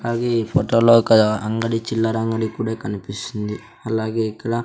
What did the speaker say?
అలాగే ఈ ఫొటో లో ఒక అంగడి చిల్లర అంగడి కూడా కనిపిస్తుంది అలాగే ఇక్కడ --